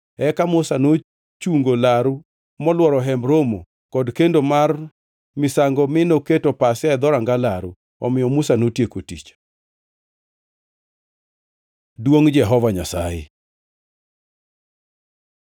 Eka Musa nochungo laru molworo Hemb Romo kod kendo mar misango mi noketo pasia e dhoranga laru. Omiyo Musa notieko tich. Duongʼ Jehova Nyasaye